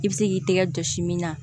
I bɛ se k'i tɛgɛ jɔsi min na